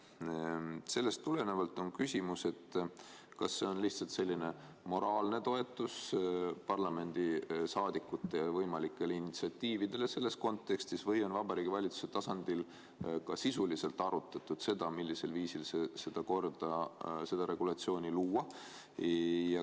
Sellest tulenevalt on küsimus, kas see on lihtsalt selline moraalne toetus parlamendiliikmete võimalikele initsiatiividele selles kontekstis või on Vabariigi Valitsuse tasandil ka sisuliselt arutatud seda, millisel viisil seda korda, seda regulatsiooni luua.